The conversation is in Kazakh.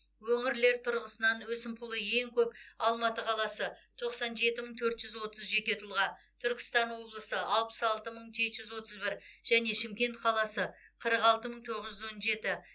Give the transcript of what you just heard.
өңірлер тұрғысынан өсімпұлы ең көп алматы қаласы тоқсан жеті мың төрт жүз отыз жеке тұлға түркістан облысы алпыс алты мың жеті жүз отыз бір және шымкент қаласы қырық алты мың тоғыз жүз он жеті